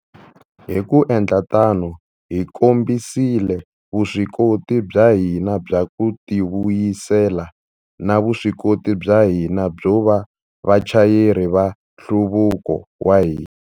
Hi ku endla tano, hi kombisile vuswikoti bya hina bya ku tivuyisela na vuswikoti bya hina byo va vachayeri va nhluvuko wa hina.